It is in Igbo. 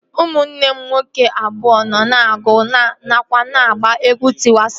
Ụmụnne m nwoke abụọ nọ na-agụ nakwa na-agba egwu Tịwa Savejị